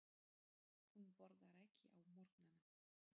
Hún borðar ekki á morgnana.